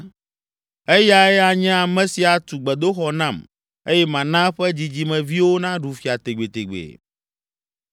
Eyae anye ame si atu gbedoxɔ nam eye mana eƒe dzidzimeviwo naɖu fia tegbetegbe.